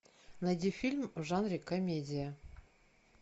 найди фильм в жанре комедия